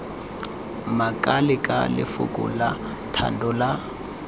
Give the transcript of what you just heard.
makalela lefoko la thando la